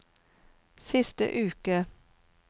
siste uke